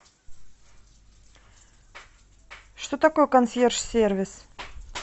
что такое консьерж сервис